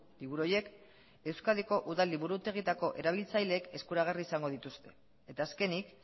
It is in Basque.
liburu horiek euskadiko udal liburutegietako erabiltzaileek eskuragarri izango dituzte eta azkenik